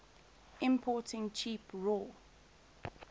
importing cheap raw